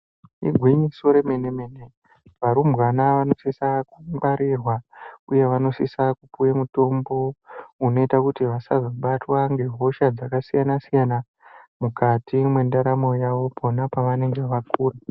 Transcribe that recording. Igwinyiso remene-mene, varumbwana vanosisa kungwarirwa, uye vanosisa kupuwe mutombo unoita kuti vasazobatwa ngehosha dzakasiyana-siyana, mukati mwendaramo yavo pona pavanenge vakura.